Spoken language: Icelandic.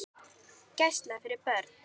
Gæsla fyrir börn.